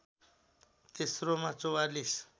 तेस्रोमा ४४